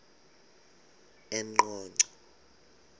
eqonco